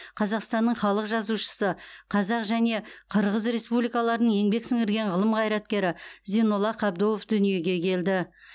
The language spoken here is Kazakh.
қазақстанның халық жазушысы қазақ және қырғыз республикаларының еңбек сіңірген ғылым қайраткері зейнолла қабдолов дүниеге келді